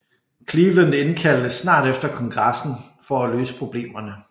Cleveland indkaldte snart efter Kongressen for at løse problemerne